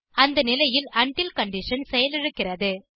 அந்த நிலையில் உண்டில் கண்டிஷன் செயலிழக்கிறது